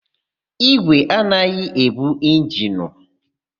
Ígwè anaghị ebu injinu.